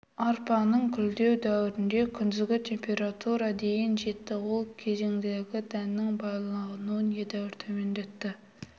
арпаның гүлдеу дәуірінде күндізгі температура дейін жетті ол кезегінде дәннің байлануын едәуір төмендетті